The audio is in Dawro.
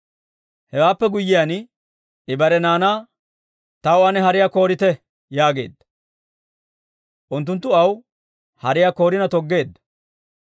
Hewaappe guyyiyaan I bare naanaa, «Taw ane hariyaa koorite» yaageedda; Unttunttu aw hariyaa koorina toggeedda.